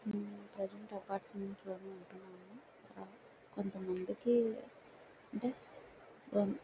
present apartments లోనే ఉంటున్నాము అండి కొంతమందికి అంటే --